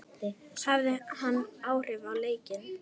Hafði hann áhrif á leikinn?